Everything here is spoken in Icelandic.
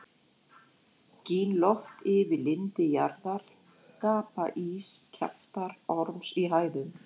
Gín loft yfir lindi jarðar, gapa ýgs kjaftar orms í hæðum.